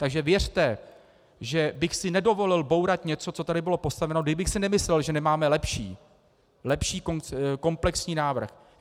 Takže věřte, že bych si nedovolil bourat něco, co tady bylo postaveno, kdybych si nemyslel, že nemáme lepší, lepší komplexní návrh.